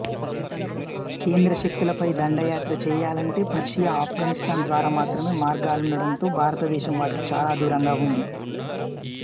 కేంద్ర శక్తులపై దండయాత్ర చెయ్యాలంటే పర్షియా ఆఫ్ఘనిస్తాన్ ద్వారా మాత్రమే మార్గాలుండడంతో భారతదేశం వాటికి చాలా దూరంగా ఉంది